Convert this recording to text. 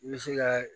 I bɛ se ka